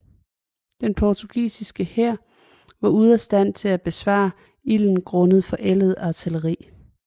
Den portugisiske hær var ude af stand til at besvare ilden grundet forældet artilleri